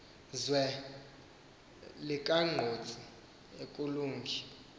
zwe liyinkqantosi akulungi